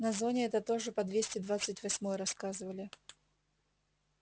на зоне это тоже по двести двадцать восьмой рассказывали